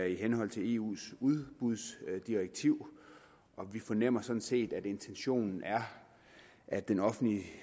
i henhold til eus udbudsdirektiv og vi fornemmer sådan set at intentionen er at den offentlige